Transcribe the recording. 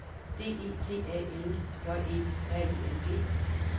D E T A L J E R I N G